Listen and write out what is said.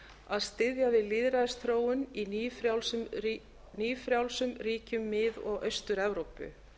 að styðja við lýðræðisþróun í nýfrjálsum ríkjum mið og austur evrópu